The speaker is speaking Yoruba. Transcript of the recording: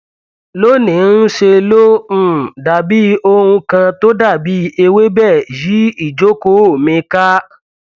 lóníí ńṣe ló um dàbí ohun kan tó dàbí ewébẹ yí ìjókòó mi ká